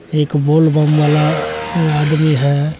एक बोलबम वाला आदमी है।